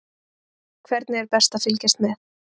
Hvernig er best að fylgjast með?